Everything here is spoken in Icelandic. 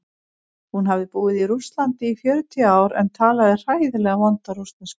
Hún hafði búið í Rússlandi í fjörutíu ár en talaði hræðilega vonda rússnesku.